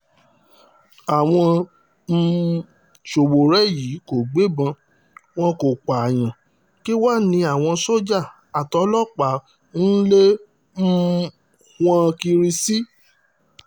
àwọn um sowore yìí kò gbébọn wọn kò pààyàn kí wàá ní àwọn sójà àtòlọ́pàá ń lé um wọn kiri sí